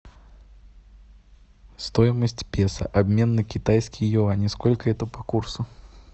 стоимость песо обмен на китайские юани сколько это по курсу